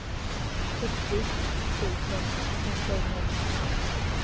sjuttio tusen åttahundranittiotvå